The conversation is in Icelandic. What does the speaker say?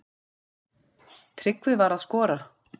Tryggvi var að skora.